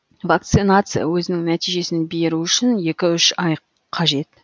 вакцинация өзінің нәтижесін беру үшін екі үш ай қажет